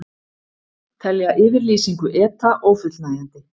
Telja yfirlýsingu ETA ófullnægjandi